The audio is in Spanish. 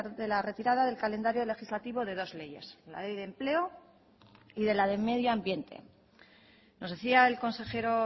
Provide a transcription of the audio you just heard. de la retirada del calendario legislativo de dos leyes la ley de empleo y de la de medio ambiente nos decía el consejero